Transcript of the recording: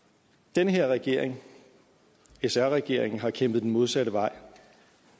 den her regering sr regeringen har kæmpet den modsatte vej